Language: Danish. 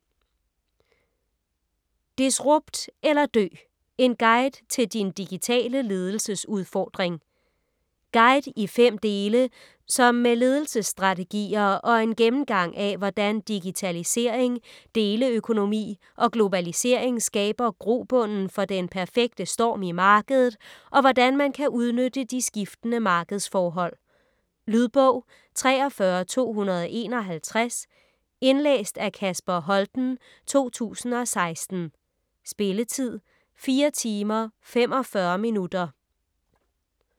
Disrupt eller dø: en guide til din digitale ledelsesudfordring Guide i fem dele, som med ledelsesstrategier og en gennemgang af hvordan digitalisering, deleøkonomi og globalisering skaber grobunden for den perfekte storm i markedet, og hvordan man kan udnytte de skiftende markedsforhold. Lydbog 43251 Indlæst af Kasper Holten, 2016. Spilletid: 4 timer, 45 minutter.